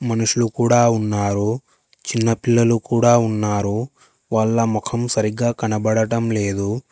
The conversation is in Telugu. మనుషులు కూడా ఉన్నారు చిన్న పిల్లలు కూడా ఉన్నారు వాళ్ళ మొఖం సరిగ్గా కనబడటం లేదు.